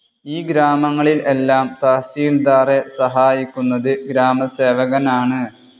ഈ ഗ്രാമങ്ങളിൽ എല്ലാം തഹസീൽദാറെ സഹായിക്കുന്നത് ഗ്രാമസേവകൻ ആണ്.